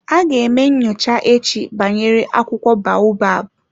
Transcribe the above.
Aga eme nyocha echi banyere akwụkwọ baobab.